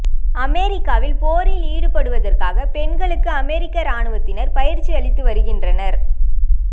அமெரிக்காவில் போரில் ஈடுபடுவதற்காக பெண்களுக்கு அமெரிக்க இராணுவத்தினர் பயிற்சி அளித்து வருகின்றனர்